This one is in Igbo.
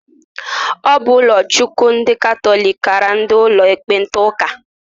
Ọ bụ ụkọchukwu ndị katọlik kara ndị ụlọ ekpenta ụka.